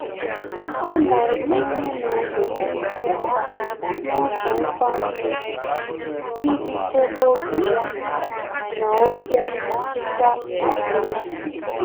Ọ́ nà-etinye n'omume ísí mbá n’ụ́zọ́ nkwanye ùgwù iji chèbé oge ya na ókè mmetụta úchè ya.